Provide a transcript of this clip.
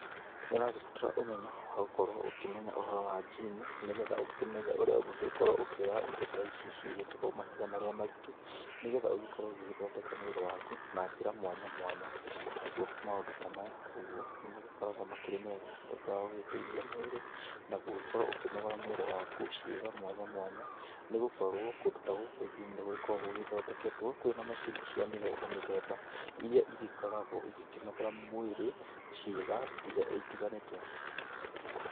Nĩũragĩbatara ũmenyo wa gũkorwo ũkĩmenya ũhoro wa njimu nĩgetha ũkĩmenye ũrĩa ũngĩgĩkorwo ũkĩoya indo ta ici cigĩĩtawo mahiga marĩa maritũ, nĩgetha ũgĩkorwo ũgĩgĩthondeka mwĩrĩ waku na njĩra mwanya mwanya. Naguo maũndu ta maya ũguo nĩ magĩkoragwo makĩrĩmega nĩũndũ wa gũgĩteithia mwĩrĩ na gũgĩkorwo ũkĩnogora mwĩrĩ waku ciĩga mwanya mwanya, nĩ gũkorwo kundũ ta gũkũ GYM nĩ gũgĩkoragwo gũgĩthondeketwo kwĩna macini cia mĩthemba mithemba iria igĩkoragwo igĩkĩnogora mwĩrĩ ciĩga itiganĩte.